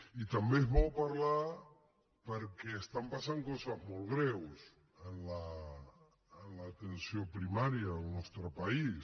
i també és bo parlar perquè estan passant coses molt greus en l’atenció primària al nostre país